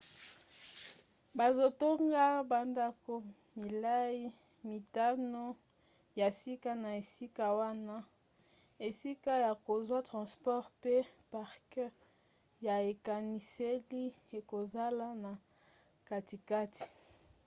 bazotonga bandako milai mitano ya sika na esika wana esika ya kozwa transport mpe parke ya ekaniseli ekozala na katikati